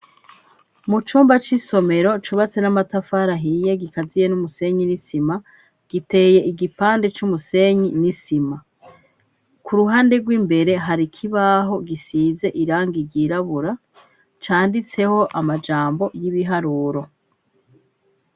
Mu cumba c'isomero cubatse n'amatafari ahiye gikaziye n'umusenyi n'isima, giteye igipande c'umusenyi n'isima, ku ruhande rw'imbere hari ikibaho gisize irangi ryirabura canditseho amajambo y'ibiharuro.